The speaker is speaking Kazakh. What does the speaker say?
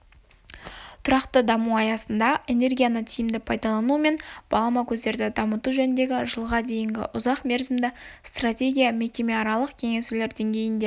тұрақты даму аясыында энергияны тиімді пайдалану мен балама көздерді дамыту жөніндегі жылға дейінгі ұзақ мерзімді стратегия мекемеаралық кеңесулер деңгейінде